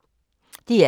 DR K